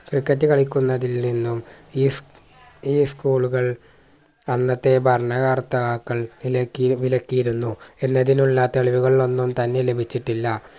cricket കളിക്കുന്നതിൽ നിന്നും ഈസ് ഈ school കൾ അന്നത്തെ ഭരണകർത്താക്കൾ വിലക്കി വിലക്കിയിരുന്നു എന്നതിനുള്ള തെളിവുകൾ ഒന്നും തന്നെ ലഭിച്ചിട്ടില്ല